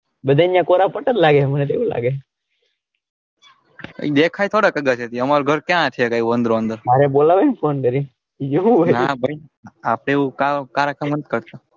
બધા અહીંયા કોરા પટ્ટ લાગે દેખાય ખરા અમારે ગરે ક્યાં છે વાંદરો અંદર અરે બોલાવો ને phone કરીને એવું હોય ના ભાઈ આપડે એવું કારકમ નઈ કરતા.